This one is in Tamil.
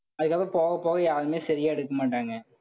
அதுக்கப்புறம் போக, போக யாருமே சரியா எடுக்க மாட்டாங்க.